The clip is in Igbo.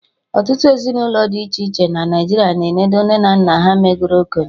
Ọtụtụ ezinụlọ dị iche na obodo Naijiria na enodo nne na nna ha megoro okenye